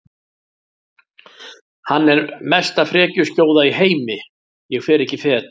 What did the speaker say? Hann er mesta frekjuskjóða í heimi og ég fer ekki fet